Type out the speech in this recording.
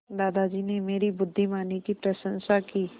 दादाजी ने मेरी बुद्धिमानी की प्रशंसा की